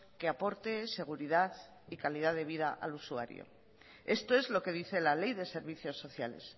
que aporte seguridad y calidad de vida al usuario esto es lo que dice la ley de servicios sociales